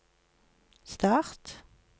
start